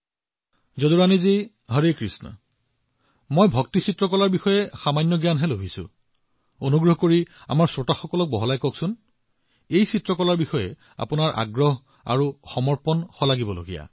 প্ৰধানমন্ত্ৰীঃ যদুৰাণী জী হৰে কৃষ্ণ মই ভক্তি কলাৰ বিষয়ে সামান্য অধ্যয়ন কৰিছো কিন্তু আমাৰ শ্ৰোতাসকলক এই বিষয়ে অধিক কব বিচাৰিছো